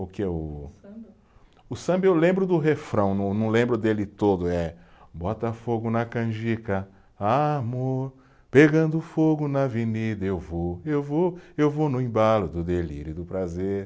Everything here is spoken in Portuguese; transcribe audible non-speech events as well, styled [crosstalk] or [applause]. O que, o. O samba. O samba eu lembro do refrão, não não lembro dele todo, eh [sings] Bota fogo na canjica, amor, pegando fogo na avenida, eu vou, eu vou, eu vou no embalo do delírio e do prazer.